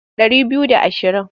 Ɗari biyu da ashirin.